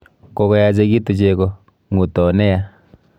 Kokoyachekitu cheko, ng'uto ne ya.